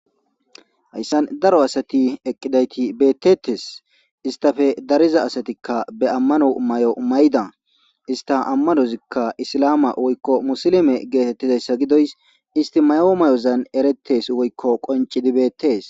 Hayssan daro asati eqqidayti beettettes istafe dariza asatikka be ammano may7o mayda ista ammanozikka isilama woykko musilime geetettizayssa gidoys isti mayo may7ozan erettes woykko qoncidibeettees.